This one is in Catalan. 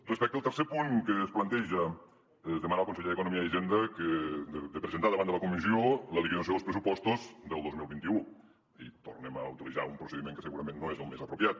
respecte al tercer punt que es planteja demanar al conseller d’economia i hi·senda de presentar davant de la comissió la liquidació dels pressupostos del dos mil vint u tornem a utilitzar un procediment que segurament no és el més apropiat